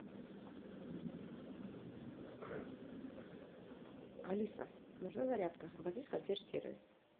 алиса нужна зарядка обратись в консьерж сервис